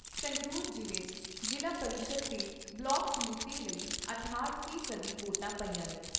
ਸੰਗਰੂਰ ਜ਼ਿਲ੍ਹੇ 'ਚ ਜ਼ਿਲ੍ਹਾ ਪਰਿਸ਼ਦ ਤੇ ਬਲਾਕ ਸਮਿਤੀ ਲਈ ਅਠਾਹਟ ਫ਼ੀ ਸਦੀ ਵੋਟਾਂ ਪਈਆਂ ਨੇ।